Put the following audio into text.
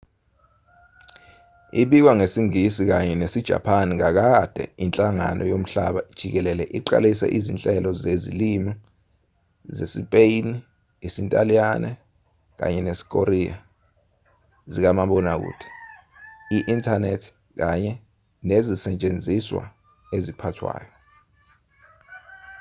ibika ngesingisi kanye nesijapani kakade inhlangano yomhlaba jikelele iqalise izinhlelo zezilimi zesispeyini isintaliyane kanye nesikoreya zikamabonakude i-inthanethi kanye nezisetshenziswa eziphathwayo